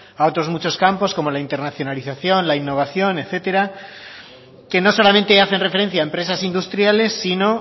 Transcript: a otros muchos campos como la internacionalización la innovación etcétera que no solamente hacen referencia a empresas industriales sino